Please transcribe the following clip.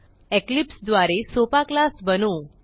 Eclipse द्वारे सोपा class बनवू